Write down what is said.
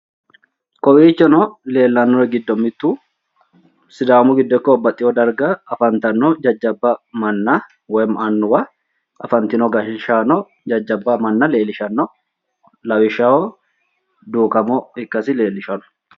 Kowiichono leellannori giddo mittu sidaamu giddo ikko babbaxxeewo darga afantanno jajjabba manna woyimmi annuwa afantino gashshaano jajjabba manna leellishanno. lawishshaho duukamo ikkasi leellishanno.